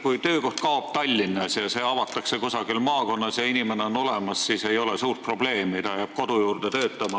Kui töökoht kaob Tallinnas ja seatakse sisse kusagil maakonnas, kus on inimene olemas, siis ei ole suurt probleemi – üks inimene saab kodukandis tööd.